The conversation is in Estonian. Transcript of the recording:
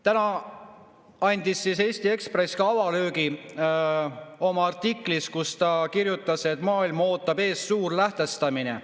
Täna andis Eesti Ekspress ka avalöögi oma artiklis, kus ta kirjutas, et maailma ootab ees Suur Lähtestamine.